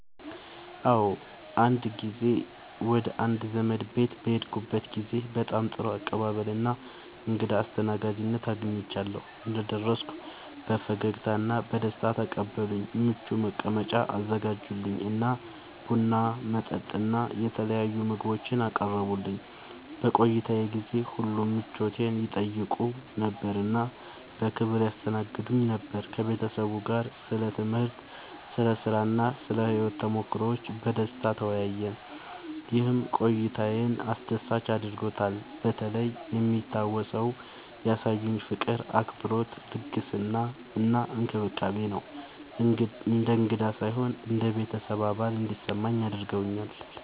አዎ፣ አንድ ጊዜ ወደ አንድ ዘመዴ ቤት በሄድኩበት ጊዜ በጣም ጥሩ አቀባበል እና እንግዳ አስተናጋጅነት አግኝቻለሁ። እንደደረስኩ በፈገግታ እና በደስታ ተቀበሉኝ፣ ምቹ መቀመጫ አዘጋጁልኝ እና ቡና፣ መጠጥ እና የተለያዩ ምግቦችን አቀረቡልኝ። በቆይታዬ ጊዜ ሁሉ ምቾቴን ይጠይቁ ነበር እና በክብር ያስተናግዱኝ ነበር። ከቤተሰቡ ጋር ስለ ትምህርት፣ ስለ ሥራ እና ስለ ሕይወት ተሞክሮዎች በደስታ ተወያየን፣ ይህም ቆይታዬን አስደሳች አድርጎታልበተለይ የሚታወሰው ያሳዩኝ ፍቅር፣ አክብሮት፣ ልግስና እና እንክብካቤ ነው። እንደ እንግዳ ሳይሆን እንደ ቤተሰብ አባል እንዲሰማኝ አድርገውኛል።